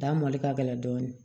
Dan mɔli ka gɛlɛn dɔɔni